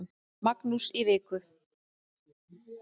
Magnús í viku.